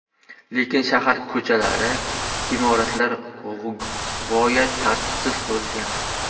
Lekin shahar ko‘chalari, imoratlar g‘oyat tartibsiz qurilgan.